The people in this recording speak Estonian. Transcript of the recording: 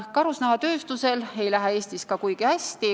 Karusnahatööstusel ei lähe Eestis kuigi hästi.